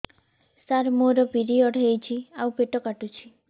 ସାର ମୋର ପିରିଅଡ଼ ହେଇଚି ଆଉ ପେଟ କାଟୁଛି